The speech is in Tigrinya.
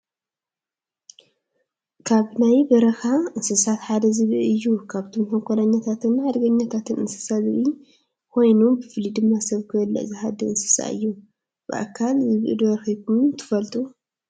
ካብ ናይ በረኻ እንስሳታት ሓደ ዝብኢ እዩ፡፡ ካብቶም ተንኮለኛታትን ሓደገኛታት እንስሳ ዝብኢ ኾይኑብፍሉይ ድማ ሰብ ክበልዕ ዝሃድን እንስሳ እዩ፡፡ ብኣካል ዝብኢ ዶ ረኺብኩም ትፈልጡ?